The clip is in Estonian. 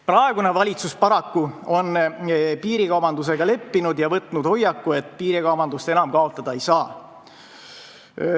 Praegune valitsus on paraku piirikaubandusega leppinud ja võtnud hoiaku, et piirikaubandust enam kaotada ei saa.